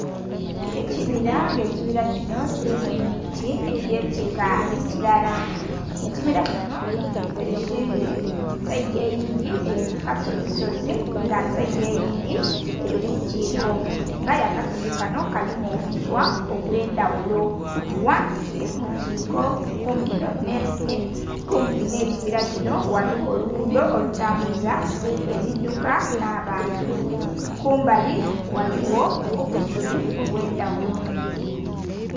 Ekibira nga ekibira kino kilimu emiti egy'ekika ekilala. Ekibila kino ekindhi saidi eyindhi eli ku kasozisozi nga saidi eyindhi eli ku kiiko, nga aye akasozi kano kalimu obuswa obwendhaghulo. Ghansi mu kiiko kumpi nh'ekibira kino ghaligho oluguudho olutambuza ebidduka nh'abantu, kumbali ghaligho obusubi obw'endhaghulo.